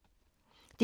DR2